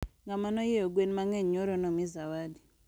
Ngama nonyieo gwen mangeny nyoro nomii zawadi